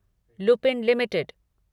Lupin limited